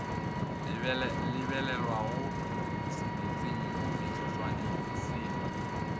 lebelelwago semetseng mo metsotswaneng se